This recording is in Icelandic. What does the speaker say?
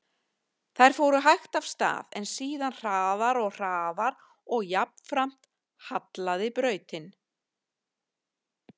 Þær fóru hægt af stað, en síðan hraðar og hraðar og jafnframt hallaði brautin.